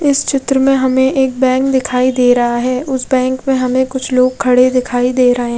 इस चित्र में हमे एक बैंक दिखाई दे रहा है उस बैंक में हमे कुछ लोग खड़े दिखाई दे रहे--